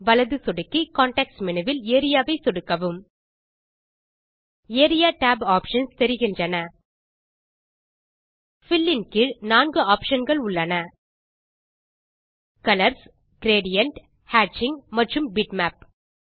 வலது சொடுக்கி context menu வில் ஏரியா ஐ சொடுக்கவும் ஏரியா tab ஆப்ஷன்ஸ் தெரிகின்றன பில் இன் கீழ் 4 optionகள் உள்ளன கலர்ஸ் கிரேடியன்ட் ஹேட்சிங் மற்றும் பிட்மேப்